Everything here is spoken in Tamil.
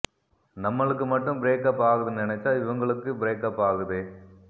நம்மலுக்கு மட்டும் பிரேக் அப் ஆகுது நெனச்சா இவங்களுக்கு பிரேக் அப் ஆகுதே